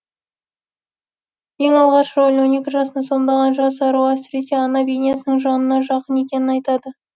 ең алғашқы рөлін он екі жасында сомдаған жас ару әсіресе ана бейнесінің жанына жақын екенін айтады